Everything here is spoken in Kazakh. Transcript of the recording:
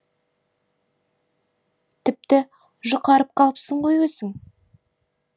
тіпті жұқарып қалыпсың ғой өзің